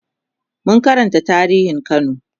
mun Karanta tarihin kano